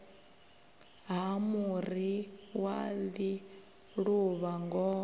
ha muri wa ḽiluvha ngoho